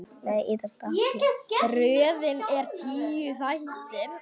Röðin er tíu þættir.